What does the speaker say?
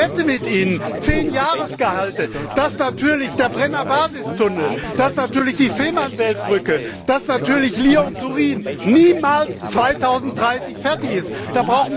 Ich wette mit Ihnen zehn Jahresgehalte, dass natürlich der Brenner Basistunnel, dass natürlich die Fehmarnbelt Brücke, dass natürlich Lyon Turin niemals 2030 fertig sind.